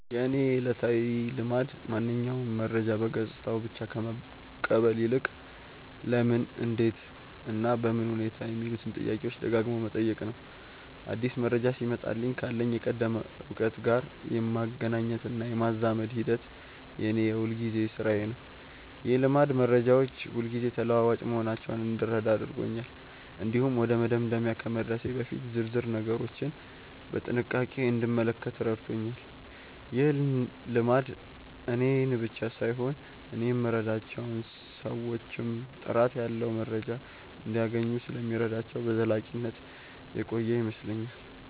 የእኔ ዕለታዊ ልማድ ማንኛውንም መረጃ በገጽታው ብቻ ከመቀበል ይልቅ "ለምን? እንዴት? እና በምን ሁኔታ" የሚሉትን ጥያቄዎች ደጋግሞ መጠየቅ ነው። አዲስ መረጃ ሲመጣልኝ ካለኝ የቀደመ እውቀት ጋር የማገናኘትና የማዛመድ ሂደት የእኔ የሁልጊዜ ሥራዬ ነው። ይህ ልማድ መረጃዎች ሁልጊዜ ተለዋዋጭ መሆናቸውን እንድረዳ አድርጎኛል። እንዲሁም ወደ መደምደሚያ ከመድረሴ በፊት ዝርዝር ነገሮችን በጥንቃቄ እንድመለከት ረድቶኛል። ይህ ልማድ እኔን ብቻ ሳይሆን እኔ የምረዳቸውን ሰዎችም ጥራት ያለው መረጃ እንዲያገኙ ስለሚረዳቸው በዘላቂነት የቆየ ይመስለኛል።